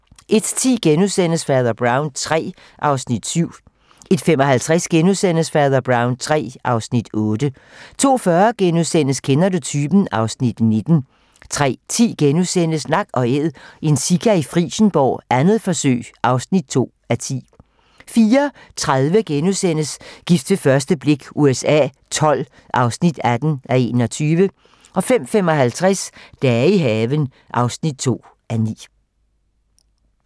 01:10: Fader Brown III (Afs. 7)* 01:55: Fader Brown III (Afs. 8)* 02:40: Kender du typen? (Afs. 19)* 03:10: Nak & Æd - en sika i Frijsenborg, 2. forsøg (2:10)* 04:30: Gift ved første blik USA XII (18:21)* 05:55: Dage i haven (2:9)